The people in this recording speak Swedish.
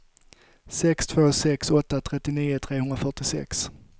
sex två sex åtta trettionio trehundrafyrtiosex